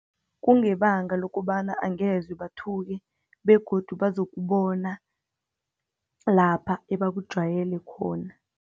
Kungebanga lokobana angezebathuke begodu bazokubona lapha ebakujwayele khona.